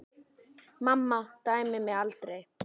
Mamma dæmdi mig aldrei.